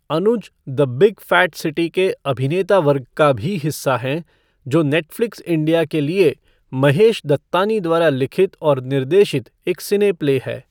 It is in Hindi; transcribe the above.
Anuj the big fat city के अभिनेता वर्ग का भी हिस्सा हैं, जो नेटफ़्लिक्स इंडिया के लिए महेश दत्तानी द्वारा लिखित और निर्देशित एक सिने प्ले है।